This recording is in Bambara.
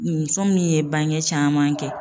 Muso min ye bange caman kɛ.